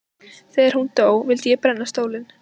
Þegar hún dó vildi ég brenna stólinn.